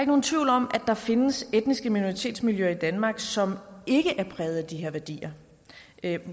nogen tvivl om at der findes etniske minoritetsmiljøer i danmark som ikke er præget af de her værdier